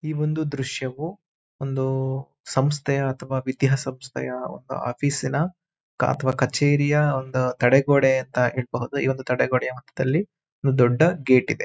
ಈ ಒಂದು ದೃಶ್ಯವು ಒಂದು ಸಂಸ್ಥೆಯ ಅಥವಾ ವಿದ್ಯಾ ಸಂಸ್ಥೆಯ ಒಂದು ಆಫೀಸ್ ನ ಅಥವಾ ಕಚೇರಿಯ ಒಂದು ತಡೆಗೋಡೆ ಅಂತ ಹೇಳ್ಬಹುದು ಈ ಒಂದು ತಡೆಗೋಡೆಯ ಮಧ್ಯದಲ್ಲಿ ಒಂದು ದೊಡ್ಡ ಗೇಟ್ ಇದೆ.